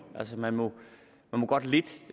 altså man må godt